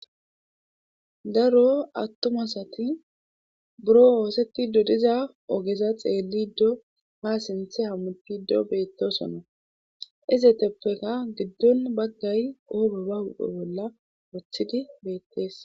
daro attumasati buro oosettido diza ogeza xeelli ddo ha sinthe hammuppido beettosonna iseteppeka giddon baggay oobe ba huphe bolla woththidi beettees